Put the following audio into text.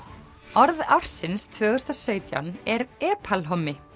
orð ársins tvö þúsund sautján er er epalhommi